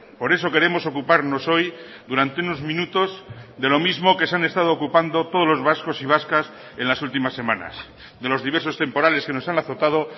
por eso queremos ocuparnos hoy durante unos minutos de lo mismo que se han estado ocupando todos los vascos y vascas en las últimas semanas de los diversos temporales que nos han azotado